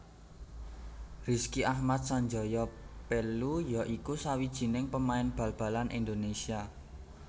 Rizky Ahmad Sanjaya Pellu ya iku sawijining pemain bal balan Indonesia